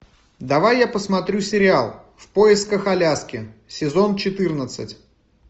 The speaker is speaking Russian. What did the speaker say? давай я посмотрю сериал в поисках аляски сезон четырнадцать